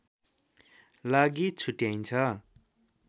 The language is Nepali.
लागि छुट्याइन्छ